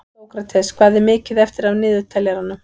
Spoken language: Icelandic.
Sókrates, hvað er mikið eftir af niðurteljaranum?